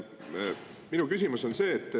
Minu küsimus on see.